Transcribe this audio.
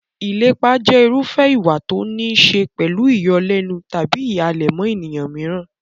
Ìlépa jẹ́ irúfẹ́ ìwà tó níí ṣe pẹ̀lú ìyọlẹ́nu tàbí ìhàlẹ̀ mọ́ ènìyàn mìíràn.